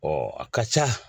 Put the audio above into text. a ka ca